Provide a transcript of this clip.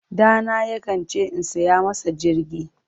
Ɗana yakan ce in saya masa jirgi.